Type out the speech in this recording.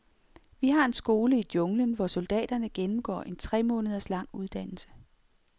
Vi har en skole i junglen, hvor soldaterne gennemgår en tre måneder lang uddannelse.